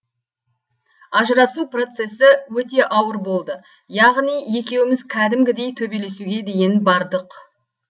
ажырасу процесі өте ауыр болды яғни екеуіміз кәдімгідей төбелесуге дейін бардық